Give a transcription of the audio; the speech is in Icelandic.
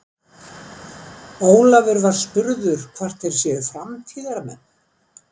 Ólafur var spurður hvort þeir séu framtíðarmenn?